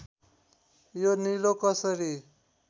यो निलो कसरी